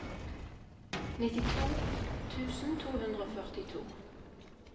nittito tusen to hundre og førtito